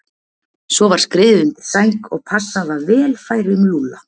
Svo var skriðið undir sæng og passað að vel færi um Lúlla.